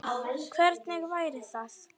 Hvernig væri það?